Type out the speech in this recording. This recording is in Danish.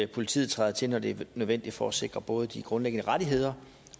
politiet træder til når det er nødvendigt for at sikre både de grundlæggende rettigheder